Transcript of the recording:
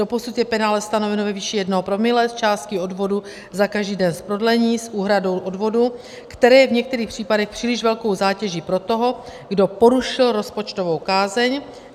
Doposud je penále stanoveno ve výši 1 promile z částky odvodu za každý den z prodlení s úhradou odvodu, které je v některých případech příliš velkou zátěží pro toho, kdo porušil rozpočtovou kázeň.